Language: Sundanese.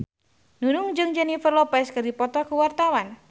Nunung jeung Jennifer Lopez keur dipoto ku wartawan